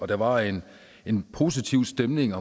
der var en en positiv stemning